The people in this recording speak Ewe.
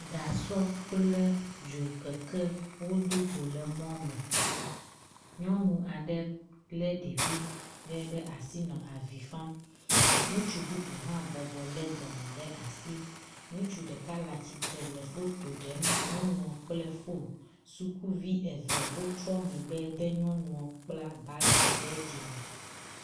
Gasɔ kple dzokeke wodo go le mɔ me. Nyɔnu aɖe le ɖevi ɖe ɖe asi nɔ avi fam. Ŋutsu bubu hã bɔbɔ le dɔme ɖe asi. Ŋutsu ɖek le atsitre le foto ɖem nyɔnua kple foni. Sukuvi eve wotrɔ megbe de nyɔnua kpla bagi ɖe dzime.